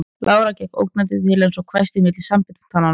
Lára gekk ógnandi til hans og hvæsti milli samanbitinna tanna